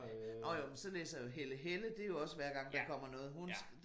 Nåh jo men sådan én som Helle Helle det jo også hver gang der kommer noget hun